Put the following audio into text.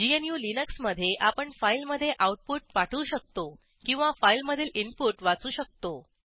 gnuलिनक्स मधे आपण फाईलमधे आऊटपुट पाठवू शकतो किंवा फाईलमधील इनपुट वाचू शकतो